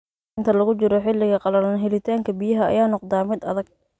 Inta lagu jiro xilliga qallalan, helitaanka biyaha ayaa noqda mid adag.